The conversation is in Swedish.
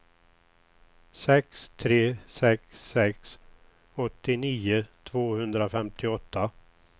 sex tre sex sex åttionio tvåhundrafemtioåtta